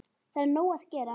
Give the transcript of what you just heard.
Það er nóg að gera.